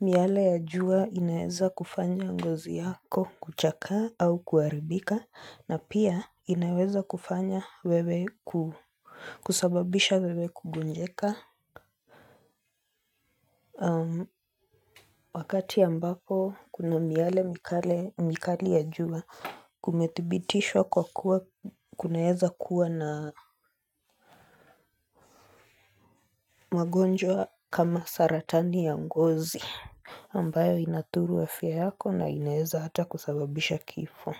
miale ya jua inaeza kufanya ngozi yako kuchakaa au kuharibika na pia inaweza kufanya wewe kusababisha wewe kugonjeka, wakati ambapo kuna miale mikali ya jua kumethibitishwa kwa kuwa kunaeza kuwa na magonjwa kama saratani ya ngozi ambayo inadhuru afya yako na inaweza hata kusababisha kifo.